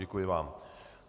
Děkuji vám.